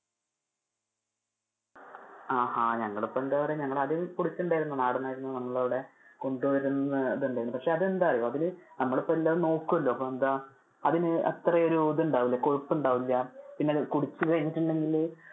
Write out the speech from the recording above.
ആ അഹ് ഞങ്ങൾ ഇപ്പൊ എന്താ പറയാ. ഞങ്ങൾ അത്നാടൻ ആയിരുന്നു നമ്മുടെ അവിടെ കൊണ്ടുവരുന്നുണ്ടായിരുന്നു. പക്ഷെ അത് എന്താന്ന് അറിയോ അതില് നമ്മൾ ഇപ്പൊ എല്ലാം നോക്കുമല്ലോ, അതിനു അത്ര ഒരു ഇത് ഉണ്ടാവില്ല കൊഴുപ്പ് ഉണ്ടാവില്ല, പിന്നെ അത് കുടിച്ചു കഴിഞ്ഞിട്ടുണ്ടെങ്കില്,